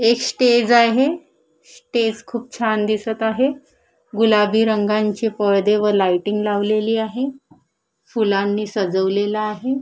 एक स्टेज आहे स्टेज खूप छान दिसत आहे गुलाबी रंगाचे परदे व लाईटिग लावलेली आहे फुलांनी सजवलेलं आहे.